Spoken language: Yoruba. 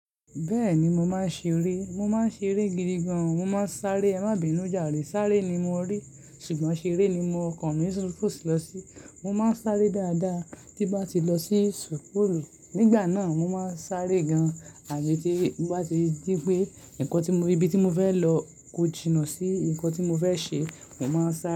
Bẹ́ẹ̀ni, mo máa ń ṣeré. Mo máa ń ṣeré gidi gan. Mo máa ń sáré. Ẹ má bínú járe, sáré ni mo ń rí sùgbọ́n ṣeré ni ọkọ̀ mi fo lọ sí. Mo máa ń sáré dáadáa. Tí bá ti lọ sí school. Nígbà náà mo máa ń sáré gan, àbí tí bá ti rí pé nǹkan tí mo, ibi tí mo fẹ́ lọ kò jinà sí nǹkan tí mo fẹ́ ṣe, mo máa ń sáré.